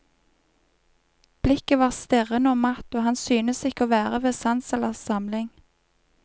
Blikket var stirrende og matt, og han syntes ikke å være ved sans eller samling.